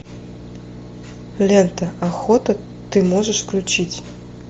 лента охота ты можешь включить